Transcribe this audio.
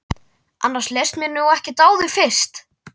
Annars leist mér nú ekkert á þig fyrst!